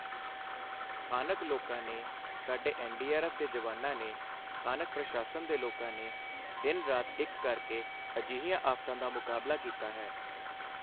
ਸਥਾਨਕ ਲੋਕਾਂ ਨੇ, ਸਾਡੇ ਐੱਨਡੀਆਰਐੱਫ ਦੇ ਜਵਾਨਾਂ ਨੇ, ਸਥਾਨਕ ਪ੍ਰਸ਼ਾਸਨ ਦੇ ਲੋਕਾਂ ਨੇ ਦਿਨ ਰਾਤ ਇੱਕ ਕਰਕੇ ਅਜਿਹੀਆਂ ਆਫ਼ਤਾਂ ਦਾ ਮੁਕਾਬਲਾ ਕੀਤਾ ਹੈ।